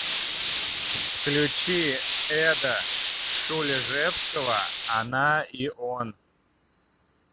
включи эда шульжевского она и он